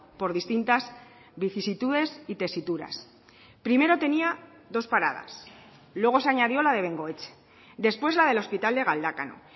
por distintas vicisitudes y tesituras primero tenía dos paradas luego se añadió la de bengoetxe después la del hospital de galdakao